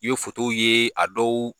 Ye ye , a dɔw